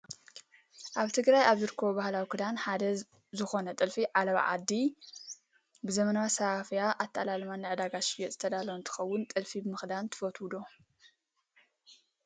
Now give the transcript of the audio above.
ኣብ ትግራይ ካብ ዝርከቡ ባህላዊ ክዳን ሓደ ዝኮነ ጥልፊ ዓላባ ዓዲ ብዘመናዊ ኣሰፋፍያን ኣተኣላልማን ንዕዳጋ ዝሽየጥ ዝተዳለወ እንትከውን፣ ጥልፊ ምክዳን ትፈትው ዶ?